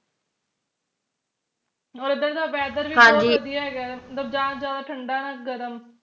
ਔਰ ਇਧਰ ਦਾ weather ਵੀ ਬਹੁਤ ਵਧੀਆ ਹੈਗਾ ਮਤਲਬ ਨਾ ਜਾਦਾ ਠੰਡਾ ਨਾ ਗਰਮ